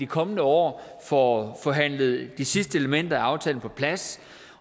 kommende år får forhandlet de sidste elementer af aftalen på plads